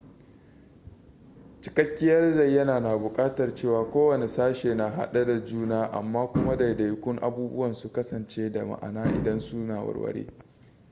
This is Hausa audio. cikakkiyar zayyana na buƙatar cewa kowane sashe na hade da juna amma kuma daidaikun abubuwan su kasance da ma'ana idan su na ware